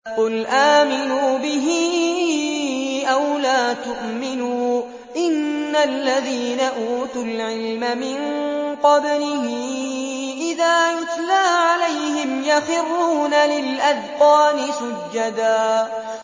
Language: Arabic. قُلْ آمِنُوا بِهِ أَوْ لَا تُؤْمِنُوا ۚ إِنَّ الَّذِينَ أُوتُوا الْعِلْمَ مِن قَبْلِهِ إِذَا يُتْلَىٰ عَلَيْهِمْ يَخِرُّونَ لِلْأَذْقَانِ سُجَّدًا